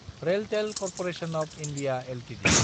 RailTel corporation of India Ltd